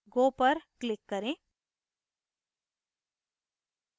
go पर click करें